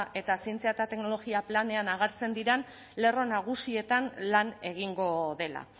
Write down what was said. eta zientzia eta teknologia planean agertzen diren lerro nagusietan lan egingo dela